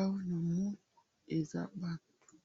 awa namoni eza batu